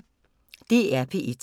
DR P1